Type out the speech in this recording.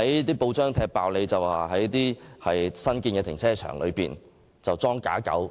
有報章揭露新建樓宇的停車場"裝假狗"。